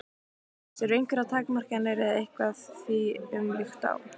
Hjördís: Eru einhverjar takmarkanir eða eitthvað því um líkt á?